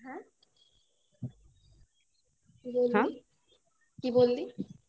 হ্যাঁ হ্যাঁ কি বললি